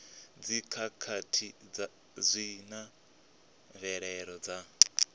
dzikhakhathi zwi na mvelelo dza